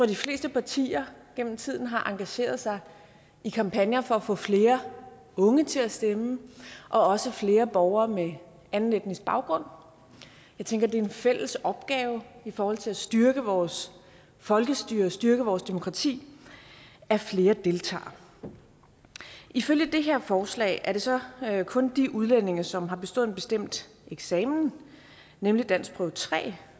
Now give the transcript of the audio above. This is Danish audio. de fleste partier gennem tiden har engageret sig i kampagner for at få flere unge til at stemme også flere borgere med anden etnisk baggrund jeg tænker det er en fælles opgave i forhold til at styrke vores folkestyre styrke vores demokrati at flere deltager ifølge det her forslag er det så kun de udlændinge som har bestået en bestemt eksamen nemlig danskprøve tre